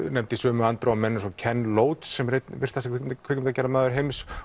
nefnd í sömu andrá og menn eins og kenn sem er einn virtasti kvikmyndagerðamaður heims